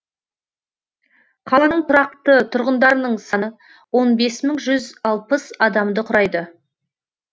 қаланың тұрақты тұрғындарының саны он бес мың жүз алпыс адамды құрайды